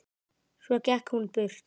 Svo gekk hún burt.